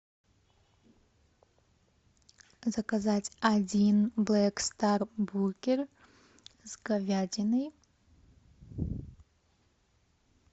заказать один блэк стар бургер с говядиной